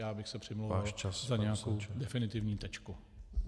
Já bych se přimlouval za nějakou definitivní tečku.